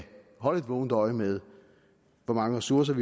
holde et vågent øje med hvor mange ressourcer